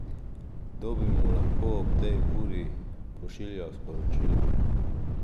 Kdo bi mu lahko ob tej uri pošiljal sporočilo?